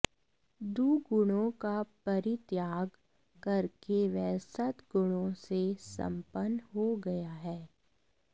दुगुणों का परित्याग करके वह सद्गुणों से सम्पन्न हो गया है